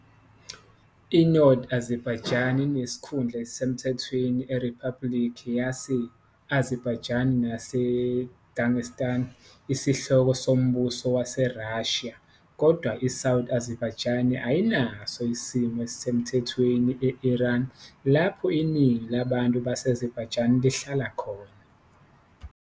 I-North Azerbaijani inesikhundla esisemthethweni eRiphabhulikhi yase-Azerbaijan nase-Dagestan, isihloko sombuso waseRussia, kodwa i-South Azerbaijani ayinaso isimo esisemthethweni e- Iran, lapho iningi labantu base-Azerbaijan lihlala khona.